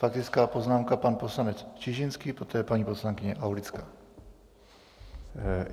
Faktická poznámka pan poslanec Čižinský, poté paní poslankyně Aulická.